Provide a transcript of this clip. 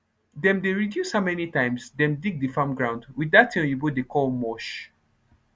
dem dey reduce how many times dem dig de farm ground with dat tin oyibo dey call mulch